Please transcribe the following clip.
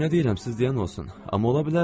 Yaxşı, nə deyirəm, sizdəyəm olsun.